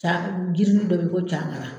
Ca jirisunni dɔ be yen ko cagara